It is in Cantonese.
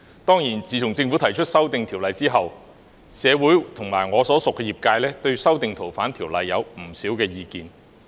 當然，自從政府提出修訂《條例》後，社會和我所屬的業界均對修訂《條例》有不少意見。